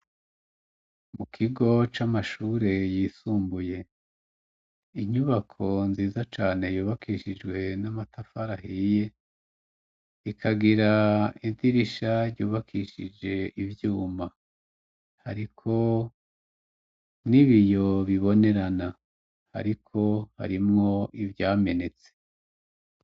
Mu kigo c'amashure yisumbuye inyubako nziza cane yubakishijwe n'amatafarahiye ikagira idirisha ryubakishije ivyuma hariko n'ibiyo bibonerana ariko harimwo ivyamenetse.